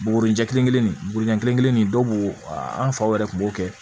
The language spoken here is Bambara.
Bugurijɛ kelen kelen burujɛn kelen kelen nin dɔw b'o an faw yɛrɛ kun b'o kɛ